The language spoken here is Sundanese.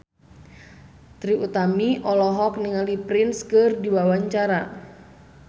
Trie Utami olohok ningali Prince keur diwawancara